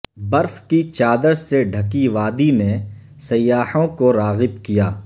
برف کی چادر سے ڈھکی وادی نے سیاحوں کو راغب کیا